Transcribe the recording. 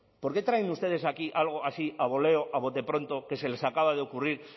por qué traen ustedes aquí algo así a boleo a bote pronto que se les acaba de ocurrir